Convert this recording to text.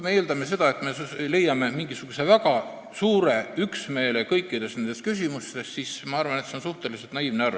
Eeldada, et me leiame väga suure üksmeele kõikides nendes küsimustes, on minu arvates suhteliselt naiivne.